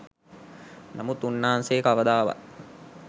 නමුත් උන්නාන්සේ කවදාවත්